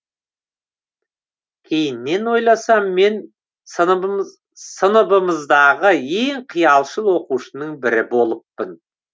кейіннен ойласам мен сыныбымыздағы ең қиялшыл оқушының бірі болыппын